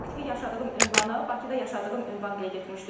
Faktiki yaşadığım ünvanı, Bakıda yaşadığım ünvanı qeyd etmişdim.